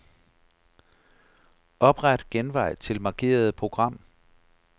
Opret genvej til markerede program.